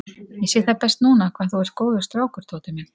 Ég sé það best núna hvað þú ert góður strákur, Tóti minn.